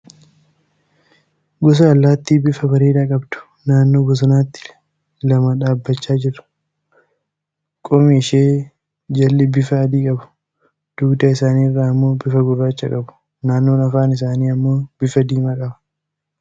Gosa allaatti bifa bareedaa qabdu, naannoo bosonaatti lama ta'anii dhaabbachaa jiru. Qomi ishee jalli bifa adii qabu. Dugda isaanii irra ammoo bifa gurraacha qabu. Naannoon afaan isaanii ammoo bifa diimaa qaba.